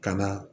Ka na